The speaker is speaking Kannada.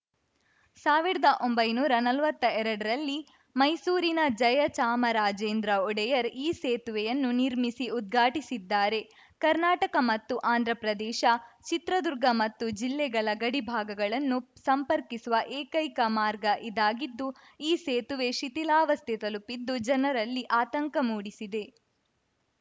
ಸಾವಿರದ ಒಂಬೈನೂರಾ ನಲ್ವತ್ತ ಎರ್ಡರಲ್ಲಿ ಮೈಸೂರಿನ ಜಯಚಾಮರಾಜೇಂದ್ರ ಒಡೆಯರ್‌ ಈ ಸೇತುವೆಯನ್ನು ನಿರ್ಮಿಸಿ ಉದ್ಘಾಟಿಸಿದ್ದಾರೆ ಕರ್ನಾಟಕ ಮತ್ತು ಆಂದ್ರಪ್ರದೇಶ ಚಿತ್ರದುರ್ಗ ಮತ್ತು ಜಿಲ್ಲೆಗಳ ಗಡಿಭಾಗಗಳನ್ನು ಸಂಪರ್ಕಿಸುವ ಏಕೈಕ ಮಾರ್ಗ ಇದಾಗಿದ್ದು ಈ ಸೇತುವೆ ಶಿಥಿಲಾವಸ್ಥೆ ತಲುಪಿದ್ದು ಜನರಲ್ಲಿ ಆತಂಕ ಮೂಡಿಸಿದೆ